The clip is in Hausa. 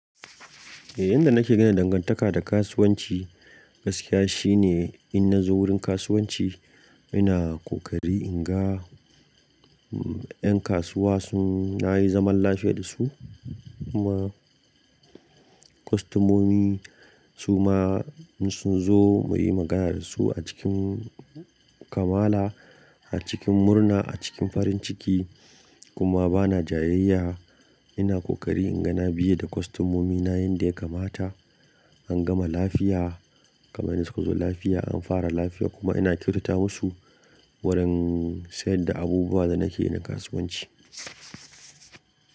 Eh, inda nake gina dangantaka da kasuwanci gaskiya shine in nazo wurin kasuwanci ina ƙoƙari in ga, mm, 'yan kasuwa sun, na yi zaman lafiya da su kuma kostomomi su ma sun zo mu yi magana da su a cikin kamala, a cikin murna, a cikin farin ciki kuma bana jayayya. Ina ƙoƙari in ga na biye da kostomomina yanda ya kamata, an gama lafiya kamar yanda sukazo lafiya an fara lafiya kuma ina kyautata musu wurin sayar da abubuwan da nake yi na kasuwanci.